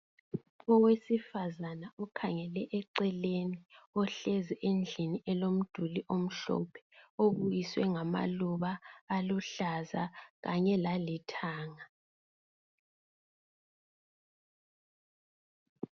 Owesifazane ukhangele eceleni ohlezi endlini elomduli omhlophe obukiswe ngamaluba aluhlaza kanye lalithanga.